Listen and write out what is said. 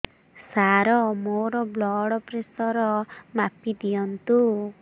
ସାର ମୋର blood pressure ମାପି ଦିଅନ୍ତୁ